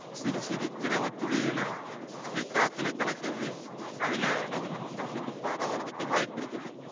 சிறு சிறு திரவ துளிகளா அப்படியே காத்துல கலக்குது அதனால வந்து மத்தவங்களுக்கு பரவறதற்கு வாய்ப்பிருக்குது